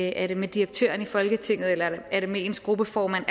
er det med direktøren i folketinget eller er det med ens gruppeformand